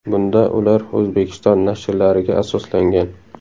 Bunda ular O‘zbekiston nashrlariga asoslangan.